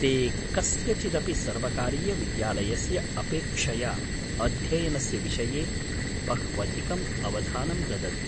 ते कस्यचिदपि सर्वकारीयविद्यालयस्य अपेक्षया अध्ययनस्य विषये बह्वधिकम् अवधानं ददति।